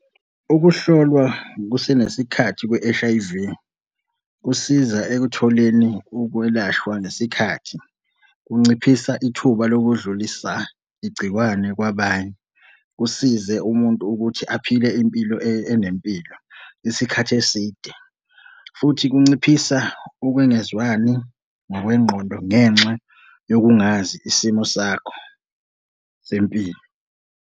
Ukuhlolwa kusenesikhathi kwe-H_I_V kusiza ekutholeni ukwelashwa nesikhathi. Kunciphisa ithuba lokudlulisa igcikwane kwabanye. Kusize umuntu ukuthi aphile impilo enempilo isikhathi eside, futhi kunciphisa ukungezwani ngokwengqondo ngenxa yokungazi isimo sakho sempilo.